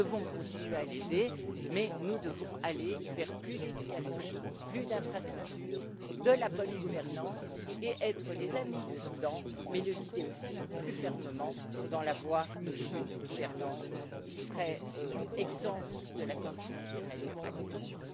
Nous devons continuer à l'aider mais nous devons aller vers plus d'éducation, plus d'infrastructures et de la bonne gouvernance, ainsi qu'être les amis du Soudan du Sud, mais aussi le guider plus fermement dans la voie d'une gouvernance qui serait exempte de la corruption qui règne actuellement.